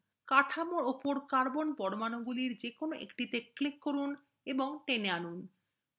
কাঠামোর উপর carbon পরমাণুগুলির যেকোনো একটিতে click করুন এবং টেনে আনুন